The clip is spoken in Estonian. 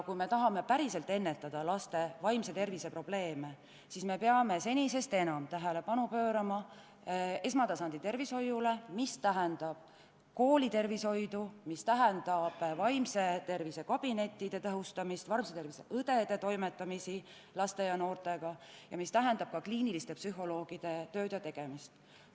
Kui me päriselt tahame ennetada laste vaimse tervise probleeme, siis peame senisest enam tähelepanu pöörama esmatasandi tervishoiule, see hõlmab koolitervishoidu, vaimse tervise kabinettide tõhustamist, vaimse tervise õdede toimetamist laste ja noortega ning kliiniliste psühholoogide töid ja tegemisi.